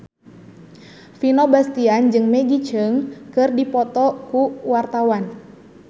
Vino Bastian jeung Maggie Cheung keur dipoto ku wartawan